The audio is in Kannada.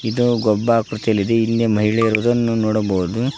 ಇದು ಗೊಬ್ಬಾಕೃತಿಯಲ್ಲಿದೆ ಇಲ್ಲಿ ಮಹಿಳೆ ಇರುವುದನ್ನು ನೋಡಬಹುದು.